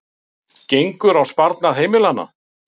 Gengur á sparnað heimila